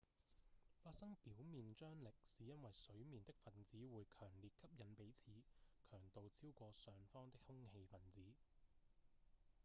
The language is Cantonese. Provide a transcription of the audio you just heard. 發生表面張力是因為水面的分子會強烈吸引彼此強度超過上方的空氣分子